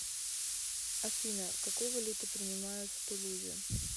афина какую валюту принимают в тулузе